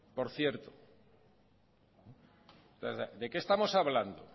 por cierto de qué estamos hablando